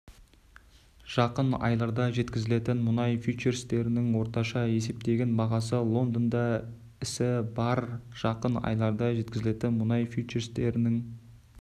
жақын айларда жеткізілетін мұнай фьючерстерінің орташа есептеген бағасы лондонда ісі барр жақын айларда жеткізілетін мұнай фьючерстерінің